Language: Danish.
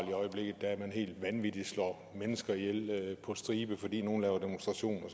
i øjeblikket at man helt vanvittigt slår mennesker ihjel på stribe fordi nogle laver demonstrationer og